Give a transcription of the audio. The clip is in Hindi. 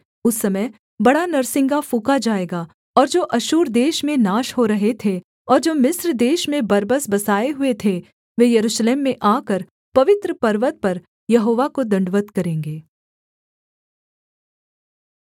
उस समय बड़ा नरसिंगा फूँका जाएगा और जो अश्शूर देश में नाश हो रहे थे और जो मिस्र देश में बरबस बसाए हुए थे वे यरूशलेम में आकर पवित्र पर्वत पर यहोवा को दण्डवत् करेंगे